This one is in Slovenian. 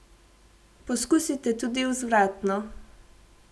Poskusite tudi vzvratno.